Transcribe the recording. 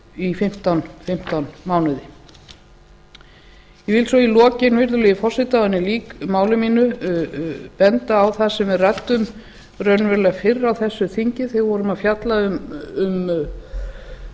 í fimmtán mánuði ég vil svo í lokin virðulegi forseti áður en ég lýk máli mínu benda á það sem við ræddum raunverulega fyrr á þessu þingi þegar við vorum að fjalla um